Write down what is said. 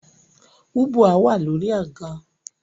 Ubwa wà lórí àga